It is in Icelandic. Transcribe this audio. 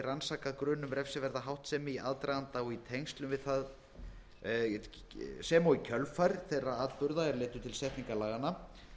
rannsakað grun um refsiverða háttsemi í aðdraganda og í tengslum við sem og í kjölfar þeirra atburða er leiddu til setningar laganna